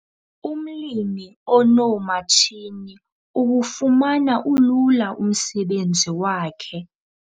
Umlimi onoomatshini uwufumana ulula umsebenzi wakhe.